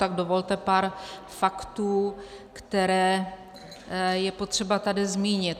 Tak dovolte pár faktů, které je potřeba tady zmínit.